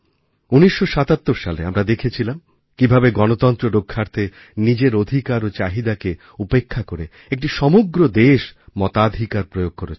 ১৯৭৭ সালে আমরাদেখেছিলাম কীভাবে গণতন্ত্র রক্ষার্থে নিজের অধিকার ও চাহিদাকে উপেক্ষা করে একটি সমগ্র দেশ মতাধিকার প্রয়োগকরেছিল